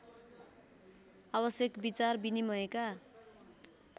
आवश्यक विचार विनिमयका